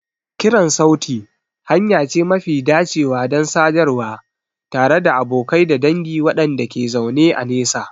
Kiran sauti hanya ce mafi dacewa don sadarwa tare da abokai da dangi waɗanda ke zaune a nesa.